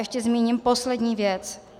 Ještě zmíním poslední věc.